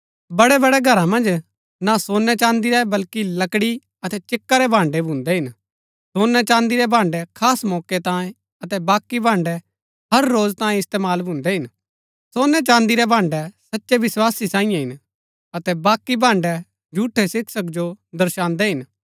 बड़ेबड़े घरा मन्ज ना सोनैचान्दी रै बल्कि लकड़ी अतै चिक्का रै भाण्ड़ै भी भून्दै हिन सोनैचान्दी रै भाण्ड़ै खास मौके तांये अतै बाकी भाण्ड़ै हर रोज तांये इस्तेमाल भून्दै हिन सोनैचान्दी रै भाण्ड़ै सच्चै विस्वासी सांईये हिन अतै बाकी भाण्ड़ै झूठै शिक्षक जो दर्शान्दै हिन